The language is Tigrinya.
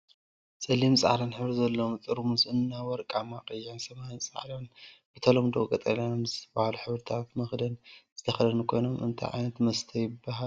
ፀሊምን ፃዕዳን ሕብሪ ዘለዎ ጥርሙዝ እና ወርቃማን ቀይሕን ሰማያዊን ፃዕዳን ብተለምዶ ቀጠልያን ብዝብሃሉ ሕብርታት መክደን ዝተከደኑ ኮይኖም እንታይ ዓይነት መስተ ይብሃሉ?